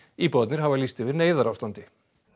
íbúarnir hafa lýst yfir neyðarástandi